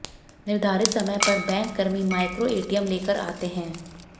निर्धारित समय पर बैंककर्मी माइक्रो एटीएम लेकर आते हैं